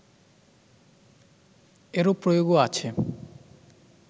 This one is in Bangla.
এরূপ প্রয়োগও আছে